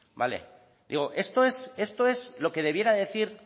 digo esto es esto es lo que debiera decir